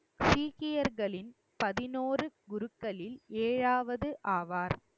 சீக்கியர்களின் பதினொறு குருக்களில் ஏழாவது ஆவார்